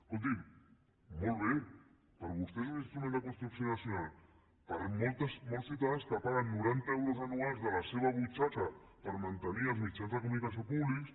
escolti’m molt bé per vostè és un instrument de construcció nacional per molts ciutadans que paguen noranta euros anuals de la seva butxaca per mantenir els mitjans de comunicació públics